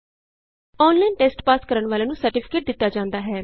online test pass ਕਰਨ ਵਾਲਿਆਂ ਨੂੰ ਸਰਟੀਫਿਕੇਟ ਦਿਤਾ ਜਾਂਦਾ ਹੈ